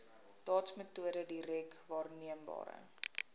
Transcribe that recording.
dotsmetode direk waarneembare